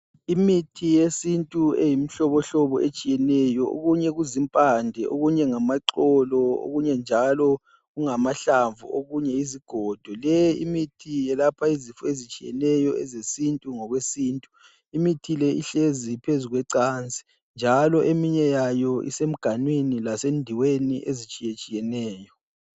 Imithi yesintu eyimihlobohlobo etshiyeneyo. okunye kuzimpande, okunye ngamaxolo, okunye njalo kungamahlamvu okunye yizigodo. Le imithi yelapha izifo ezitshiyeneyo ezesintu, ngokwesintu. Imithi le ihlezi phezu kwecansi njalo eminye yayo isemganwini lasendiweni ezitshiyetshiyeneyo.